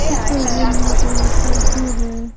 इस तस्वीर में एक लैपटॉप भी है।